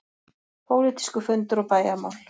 PÓLITÍSKUR FUNDUR OG BÆJARMÁL